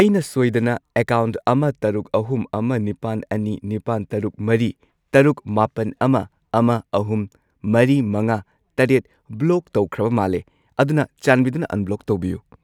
ꯑꯩꯅ ꯁꯣꯏꯗꯅ ꯑꯦꯀꯥꯎꯟꯠ ꯑꯃ ꯇꯔꯨꯛ, ꯑꯍꯨꯝ, ꯑꯃ, ꯅꯤꯄꯥꯟ, ꯑꯅꯤ, ꯅꯤꯄꯥꯜ, ꯇꯔꯨꯛ, ꯃꯔꯤ, ꯇꯔꯨꯛ, ꯃꯥꯄꯟ , ꯑꯃ, ꯑꯃ, ꯑꯍꯨꯝ ,ꯃꯔꯤ, ꯃꯉꯥ, ꯇꯔꯦꯠ ꯕ꯭ꯂꯣꯛ ꯇꯧꯈ꯭ꯔꯕ ꯃꯥꯜꯂꯦ, ꯑꯗꯨꯅ ꯆꯥꯟꯕꯤꯗꯨꯅ ꯑꯟꯕ꯭ꯂꯣꯛ ꯇꯧꯕꯤꯌꯨ꯫